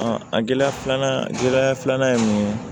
a gɛlɛya filanan gɛlɛya filanan ye mun ye